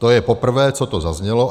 To je poprvé, co to zaznělo.